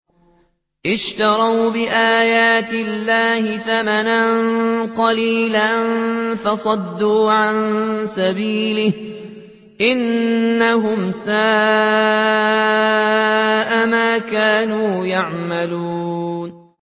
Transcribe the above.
اشْتَرَوْا بِآيَاتِ اللَّهِ ثَمَنًا قَلِيلًا فَصَدُّوا عَن سَبِيلِهِ ۚ إِنَّهُمْ سَاءَ مَا كَانُوا يَعْمَلُونَ